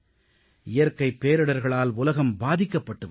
இயற்கைப் பேரிடர்களால் உலகம் பாதிக்கப்பட்டு வருகிறது